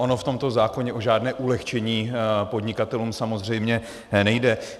Ono v tomto zákoně o žádné ulehčení podnikatelům samozřejmě nejde.